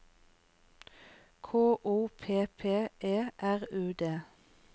K O P P E R U D